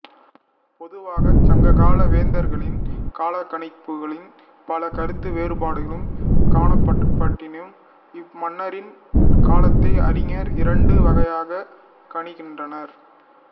பொதுவாகச் சங்ககால வேந்தர்களின் காலக்கணிப்புகளில் பல கருத்து வேறுபாடுகள் காணப்படினும் இம்மன்னரின் காலத்தை அறிஞர்கள் இரண்டு வகையாகக் கணிக்கின்றனர்